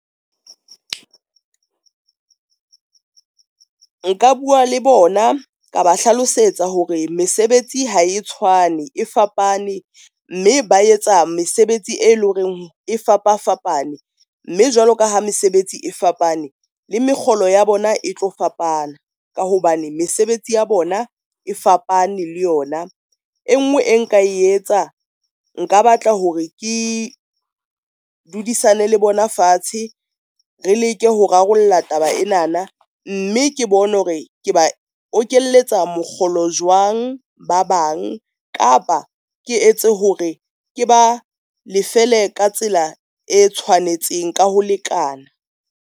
Nka bua le bona, ka ba hlalosetsa hore mesebetsi ha e tshwane e fapane, mme ba etsa mesebetsi e leng hore e fapafapane, mme jwalo ka ha mesebetsi e fapane le mekgolo ya bona e tlo fapana ka hobane mesebetsi ya bona e fapane le yona e nngwe e nka e etsa. Nka batla hore ke dudisane le bona fatshe re leke ho rarolla taba ena na, mme ke bone hore ke ba okelletsa mokgolo jwang ba bang kapa ke etse hore ke ba lefele ka tsela e tshwanetseng ka ho lekana.